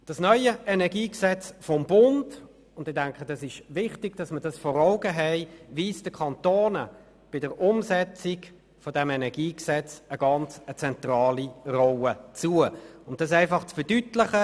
Das neue Energiegesetz des Bundes (EnG) weist den Kantonen bei der Umsetzung eine ganz zentrale Rolle zu, und es ist meines Erachtens wichtig, dies vor Augen zu haben.